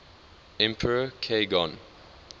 emperor k gon